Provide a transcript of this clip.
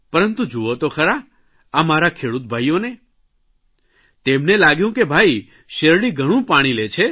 પરંતુ જુઓ તો ખરા આ મારા ખેડૂત ભાઇઓને તેમને લાગ્યું કે ભાઇ શેરડી ઘણું પાણી લે છે